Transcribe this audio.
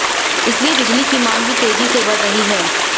इसीलिए बिजली की मांग भी तेजी से बढ़ रही है